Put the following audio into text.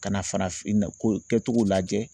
Ka na farafinna ko kɛ cogo lajɛ